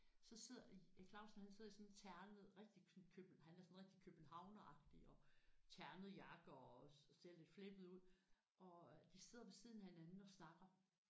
Så sidder Erik Clausen han sidder i sådan en ternet rigtig sådan køb han er sådan rigtig københavneragtig og ternet jakke også og ser sådan lidt flippet ud og øh de sidder ved siden af hinanden og snakker